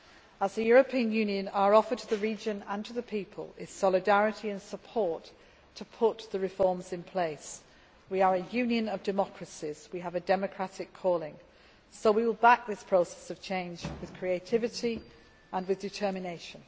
of people. As the European Union, our offer to the region and to the people is solidarity and support to put the reforms in place. We are a union of democracies we have a democratic calling, so we will back this process of change with creativity and with determination.